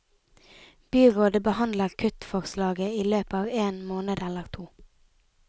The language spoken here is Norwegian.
Byrådet behandler kuttforslaget i løpet av én måned eller to.